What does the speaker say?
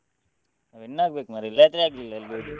Win ಆಗ್ಬೇಕು ಮಾರ್ರೆ ಇಲ್ಲಾದ್ರೆ ಆಗ್ಲಿಲ್ಲ ಎಲ್ರಿಗು.